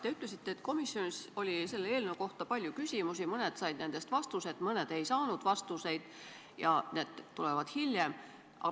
Te ütlesite, et komisjonis oli selle eelnõu kohta palju küsimusi, mõned nendest said vastuse, mõned ei saanud ja vastused tulevad hiljem.